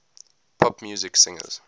pop music singers